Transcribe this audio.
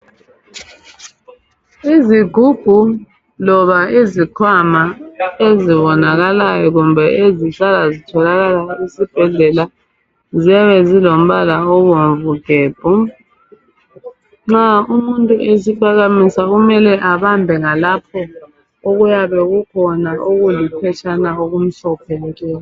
Izigubhu loba izikhwama ezibonakalayo kumbe ezihlala zitholakala ezibhedlela ziyabe zilombala obomvu gebhu. Nxa umuntu esiphakamisa kumele abambe ngalapho okuyabe kukhona okuliphetshana okumhlophe nke.